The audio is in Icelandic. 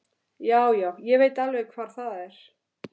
Já, já, ég veit alveg hvar það er.